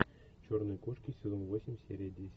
черные кошки сезон восемь серия десять